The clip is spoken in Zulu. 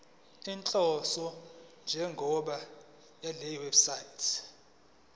inhloso nenjongo yalewebsite